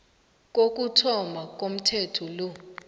kokuthoma komthetho lo